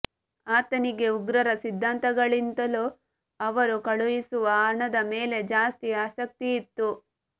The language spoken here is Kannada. ಆತನಿಗೆ ಉಗ್ರರ ಸಿದ್ಧಾಂತಗಳಿಗಿಂತಲೂ ಅವರು ಕಳುಹಿಸುವ ಹಣದ ಮೇಲೆ ಜಾಸ್ತಿ ಆಸಕ್ತಿಯಿತ್ತು